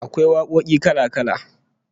Akwai wakoki kala-kala